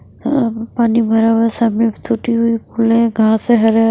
अ पानी भरा हुआ है सामने टूटी हुई पुल है घास है हरे हरे--